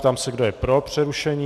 Ptám se, kdo je pro přerušení.